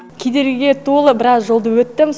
кедергіге толы біраз жолды өттім